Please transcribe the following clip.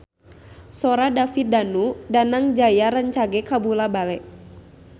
Sora David Danu Danangjaya rancage kabula-bale